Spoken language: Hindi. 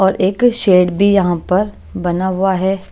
और एक शेड भी यहाँ पर बना हुआ है।